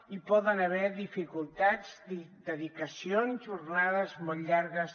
hi poden haver dificultats dedicacions jornades molt llargues